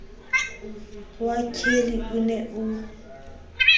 wa kelly o ne o